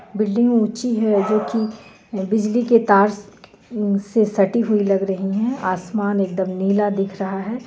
Building ऊँची हे जोकि बिजली के तार स से सटी हुई लग रही हे आसमान एकदम नीला दिख रहा हे.